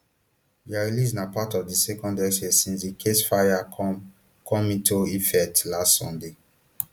dia release na part of di second exchange since di ceasefire come come into effect last sunday